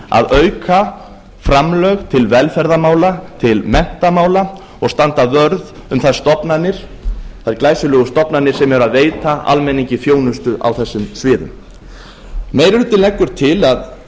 að auka framlög til velferðarmála til menntamála og standa vörð um þær stofnanir þær glæsilegu stofnanir sem eru að veita almenningi þjónustu á þessum sviðum meiri